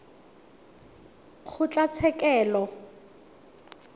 kgotlatshekelo